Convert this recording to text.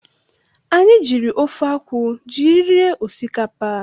Anyị jiiri ofe akwụ jiri rie osikapa.